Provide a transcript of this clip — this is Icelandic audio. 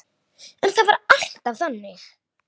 En það var alltaf þannig.